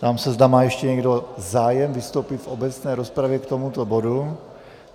Ptám se, zda má ještě někdo zájem vystoupit v obecné rozpravě k tomuto bodu.